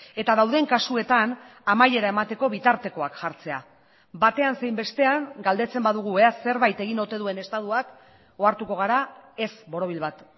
eta dauden kasuetan amaiera emateko bitartekoak jartzea batean zein bestean galdetzen badugu ea zerbait egin ote duen estatuak ohartuko gara ez borobil bat